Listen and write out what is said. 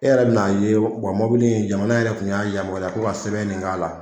E yɛrɛ bɛna ye wa mɔbili in jamana yɛrɛ kun y'a yamaruya k'o ka sɛbɛn min k'a la